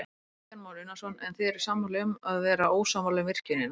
Kristján Már Unnarsson: En þið eruð sammála um að vera ósammála um virkjunina?